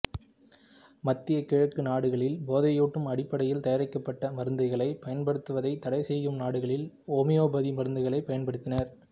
மத்திய கிழக்கு நாடுகளில் போதையூட்டும் அடிப்படையில் தயாரிக்கப்பட்ட மருந்துகளைப் பயன்படுத்துவதைத் தடைசெய்யும் நாடுகளில் ஓமியோபதி மருந்துகளைப் பயன்படுத்தினார்